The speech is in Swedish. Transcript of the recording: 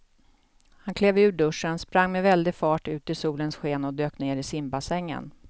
Hon klev ur duschen, sprang med väldig fart ut i solens sken och dök ner i simbassängen.